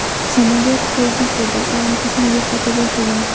Samolyot tezlik va balandlikni yo‘qota boshlagan.